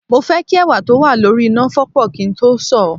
Mo fẹ́ kí ẹ̀wà tó wà lórí iná fọ́pọ̀ kí n tó sọ̀ ọ́